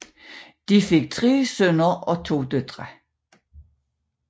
De fik 3 sønner og 2 døtre